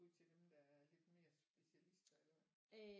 Ud til dem der er lidt mere specialiter eller hvad